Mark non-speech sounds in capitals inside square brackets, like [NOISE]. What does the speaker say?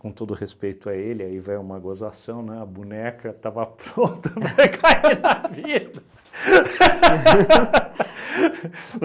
Com todo o respeito a ele, aí vai uma gozação, né, [LAUGHS] a boneca estava pronta para cair na vida. [LAUGHS]